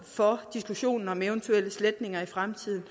for diskussionen om eventuel sletning i fremtiden